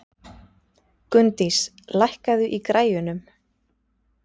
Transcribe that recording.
Gunndís, lækkaðu í græjunum.